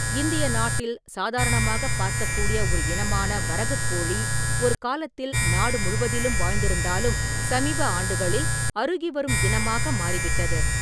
இந்திய நாட்டில் சாதாரணமாகப் பார்க்கக்கூடிய ஒரு இனமான வரகுக் கோழி ஒரு காலத்தில் நாடு முழுவதிலும் வாழ்ந்திருந்தாலும் சமீப ஆண்டுகளில் அருகிவரும் இனமாக மாறிவிட்டது.